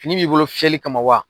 Fini b'i bolo fiyɛli kama wa.